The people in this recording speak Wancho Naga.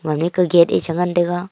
ami ke gate e che ngan taiga.